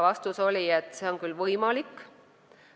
Vastus oli, et see on võimalik.